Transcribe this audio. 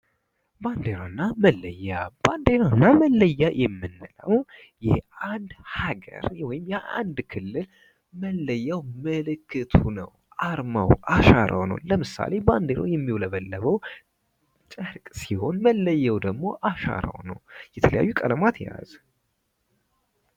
ባንዲራና መለያ ባንዲራና መለያ የምንለው የአንድ ሀገር ወዮም የአንድ ክልል መለያው ምልክቱ ነው አርማው አሻራው ነው። ባንዲራው የሚውለበለበው ጨርቅ ሲሆን መለያው ደግሞ አሻራው ነው። የተለያዩ በለማት የያዘ።